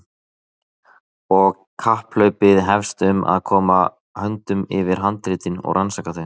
Og kapphlaupið hefst um að koma höndum yfir handritin og rannsaka þau.